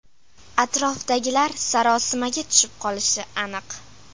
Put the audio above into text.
Atrofdagilar sarosimaga tushib qolishi aniq.